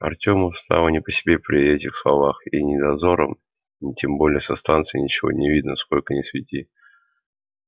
артёму стало не по себе при этих словах и ни дозорам ни тем более со станции ничего не видно сколько ни свети